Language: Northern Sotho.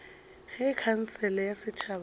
ge khansele ya setšhaba ya